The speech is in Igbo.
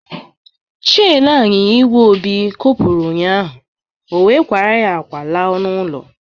Cheni anyịnya igwe Obi kopuru ụnyaahụ, ọ wee kwara akwa laa n'ụlọ.